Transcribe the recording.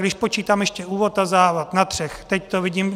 Když počítám ještě úvod a závěr, na třech, teď to vidím.